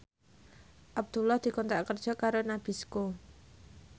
Abdullah dikontrak kerja karo Nabisco